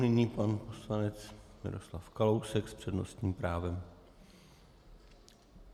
Nyní pan poslanec Miroslav Kalousek s přednostním právem.